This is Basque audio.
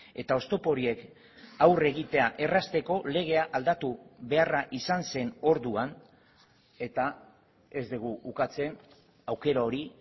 eta oztopo horiek aurre egitea errazteko legea aldatu beharra izan zen orduan eta ez dugu ukatzen aukera hori